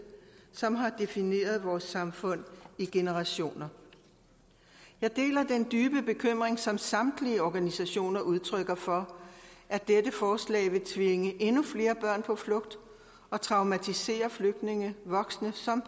som har defineret vores samfund i generationer jeg deler den dybe bekymring som samtlige organisationer udtrykker for at dette forslag vil tvinge endnu flere børn på flugt og traumatisere flygtninge voksne som